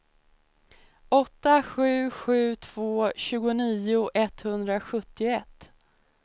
åtta sju sju två tjugonio etthundrasjuttioett